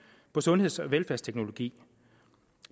på sundheds og velfærdsteknologi